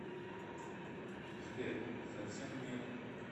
сбер совсем нет